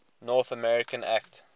north america act